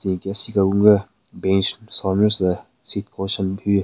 Tsü nyeki asika gun gü bench so nyu tsü seat cushion hyu.